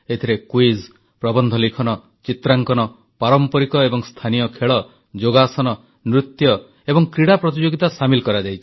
ଏଥିରେ କୁଇଜ୍ ପ୍ରବନ୍ଧ ଲିଖନ ଚିତ୍ରାଙ୍କନ ପାରମ୍ପରିକ ଏବଂ ସ୍ଥାନୀୟ ଖେଳ ଯୋଗାସନ ନୃତ୍ୟ ଏବଂ କ୍ରୀଡ଼ା ପ୍ରତିଯୋଗିତା ସାମିଲ କରାଯାଇଛି